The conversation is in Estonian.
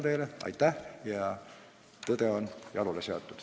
Nii et aitäh, ja tõde on jalule seatud.